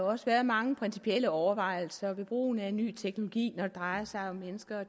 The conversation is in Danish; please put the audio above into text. også været mange principielle overvejelser om brugen af ny teknologi når det drejer sig om mennesker